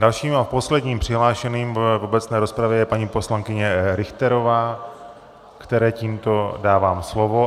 Dalším a posledním přihlášeným v obecné rozpravě je paní poslankyně Richterová, které tímto dávám slovo.